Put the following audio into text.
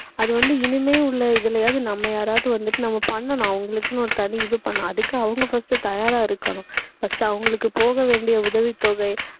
அது வந்து இனிமேல் உள்ள இதுலயாவது நம்ம யாராவது வந்துட்டு நம்ம பண்ணணும். அவங்களுக்குன்னு ஒரு தனி இது பண்ணணும். அதுக்கு அவங்க first உ தயாரா இருக்கணும். first உ அவங்களுக்கு போக வேண்டிய உதவித்தொகை